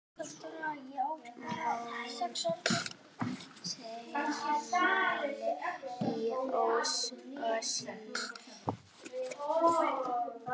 Mótmæli í Osló